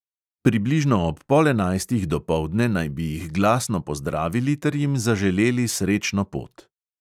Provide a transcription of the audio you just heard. Približno ob pol enajstih dopoldne naj bi jih glasno pozdravili ter jim zaželeli srečno pot.